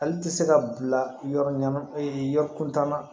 Ale tɛ se ka bila yɔrɔ ɲama e yɔrɔ kuntanna